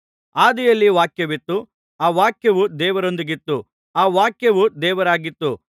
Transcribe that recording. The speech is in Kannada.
ಆದಿಯಲ್ಲಿ ವಾಕ್ಯವಿತ್ತು ಆ ವಾಕ್ಯವು ದೇವರೊಂದಿಗಿತ್ತು ಆ ವಾಕ್ಯವು ದೇವರಾಗಿತ್ತು